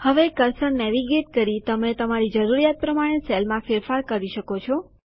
હવે cursor navigate કરી તમે તમારી જરૂરિયાત પ્રમાણે સેલમાં ફેરફાર કરી શકો છો